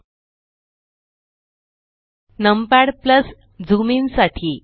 ltपीजीटी numpad zoom in साठी